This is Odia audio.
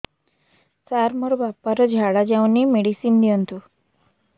ସାର ମୋର ବାପା ର ଝାଡା ଯାଉନି ମେଡିସିନ ଦିଅନ୍ତୁ